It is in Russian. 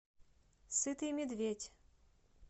сытый медведь